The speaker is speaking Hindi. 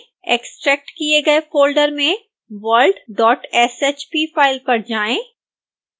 एक्स्ट्रैक्ट किए गए फोल्डर में worldshp फाइल पर जाएं